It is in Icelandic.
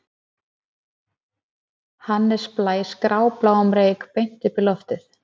Hannes blæs grábláum reyk beint upp í loftið